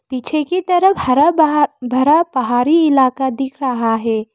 पीछे की तरफ हरा बहा भरा पहाड़ी इलाका दिख रहा है।